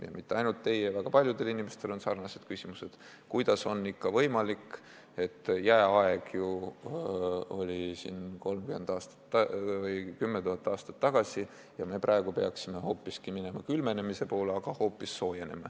Ja mitte ainult teie küsimustele, väga paljudel inimestel on sarnased küsimused, kuidas on ikka võimalik, et jääaeg ju oli 10 000 aastat tagasi ja me praegu peaksime minema külmenemise poole, aga kliima hoopis soojeneb.